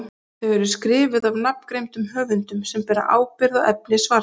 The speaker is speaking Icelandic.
þau eru skrifuð af nafngreindum höfundum sem bera ábyrgð á efni svarsins